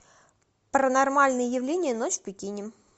паранормальные явления ночь в пекине